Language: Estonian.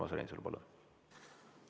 Urmas Reinsalu, palun!